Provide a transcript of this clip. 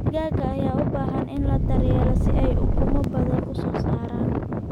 Digaagga ayaa u baahan in la daryeelo si ay ukumo badan u soo saaraan.